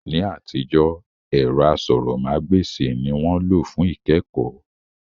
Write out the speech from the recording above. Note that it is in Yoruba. Ní àtijọ́, ẹ̀rọ asọ̀rọ̀mágb'èsì ni wọ́n lò fún ìkẹ́kọ̀ọ́